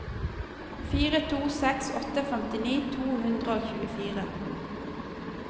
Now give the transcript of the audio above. fire to seks åtte femtini to hundre og tjuefire